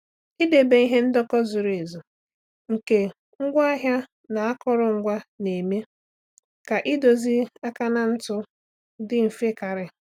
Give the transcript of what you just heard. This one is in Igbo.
Ịdebe ihe ndekọ zuru ezu nke ngwa ahịa na akụrụngwa na-eme ka idozi akaụntụ dị mfe karị.